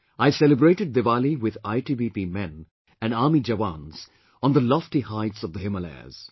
I celebrated Diwali with ITBP men and army jawans on the lofty heights of the Himalayas